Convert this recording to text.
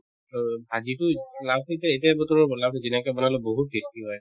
অ, ভাজিতো লাউতো এতিয়া এতিয়াই বোধ কৰো লাউতো যেনেকে বনালেও বহুত tasty হয়